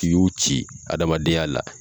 N'i y'u ci adamadenya la